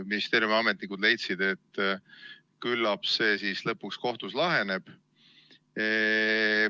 Ministeeriumi ametnikud leidsid, et küllap see siis lõpuks kohtus laheneb.